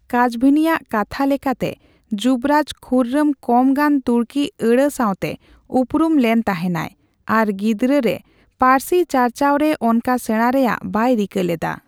ᱠᱟᱡᱵᱷᱤᱱᱤ ᱟᱜ ᱠᱟᱛᱷᱟ ᱞᱮᱠᱟᱛᱮ, ᱡᱩᱵᱚᱨᱟᱡᱽ ᱠᱷᱩᱨᱨᱚᱢ ᱠᱚᱢ ᱜᱟᱱ ᱛᱩᱨᱠᱤ ᱟᱹᱲᱟᱹ ᱥᱟᱸᱣᱛᱮ ᱩᱯᱨᱩᱢ ᱞᱮᱱ ᱛᱟᱸᱦᱮᱱᱟᱭ ᱾ ᱟᱨ ᱜᱤᱫᱽᱨᱟᱹ ᱨᱮ ᱯᱟᱹᱨᱥᱤ ᱪᱟᱨᱪᱟᱣᱨᱮ ᱚᱱᱠᱟ ᱥᱮᱲᱟ ᱨᱮᱭᱟᱜ ᱵᱟᱭ ᱨᱤᱠᱟᱹ ᱞᱮᱫᱟ ᱾